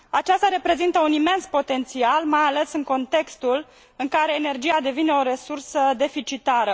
Aceasta reprezintă un imens potențial, mai ales în contextul în care energia devine o resursă deficitară.